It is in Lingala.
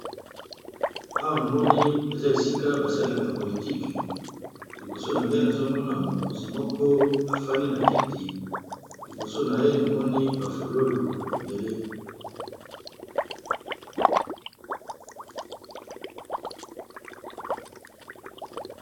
Awa namoni eza esika basalelaka politique liboso na ngai nazomona mokonzi moko afandi na kiti liboso na ye namoni ba fololo ebele .